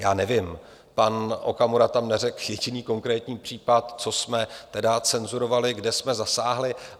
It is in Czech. Já nevím, pan Okamura tam neřekl jediný konkrétní případ, co jsme tedy cenzurovali, kde jsme zasáhli.